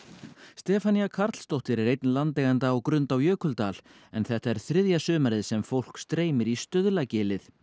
Stefanía Karlsdóttir er einn landeigenda á Grund á Jökuldal en þetta er þriðja sumarið sem fólk streymir í Stuðlagilið